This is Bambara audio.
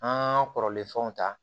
An ka kɔrɔlen fɛnw ta